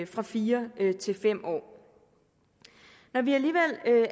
fra fire til fem år når vi alligevel